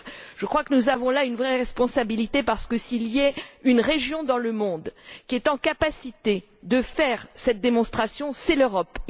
Je crois que nous avons là une vraie responsabilité, car s'il est une région dans le monde qui a la capacité de faire cette démonstration, c'est l'Europe.